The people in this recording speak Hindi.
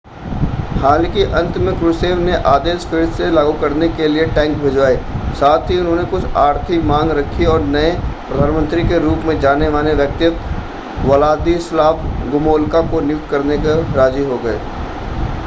हालांकि अंत में क्रुश्चेव ने आदेश फिर से लागू करने के लिए टैंक भिजवाए साथ ही उन्होंने कुछ आर्थिक मांग रखी और नए प्रधानमंत्री के रूप में जाने-माने व्यक्तित्व व्लादिस्लाव गोमुल्का को नियुक्त करने को राजी हो गए